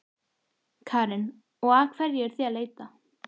Karen: Og að hverju eruð þið að leita?